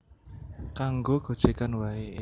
Kanggo gojegan wae